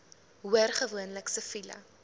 hoor gewoonlik siviele